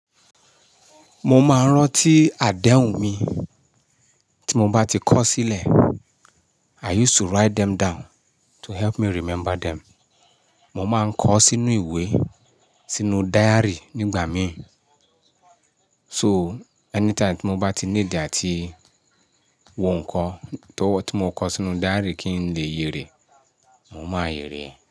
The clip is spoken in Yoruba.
Mo máa ń rántí àdéhùn mi tí mo bá ti kọ sílẹ̀. I used to write them down to help me remember them. Mo máa ń kọ sínú ìwé, sínú diary nígbà mi. So, anytime tí mo bá ti níidi àti wò nkan towo tí mo kọ sínú diary kí n lè yè rẹ̀, mo máa yè rẹ̀.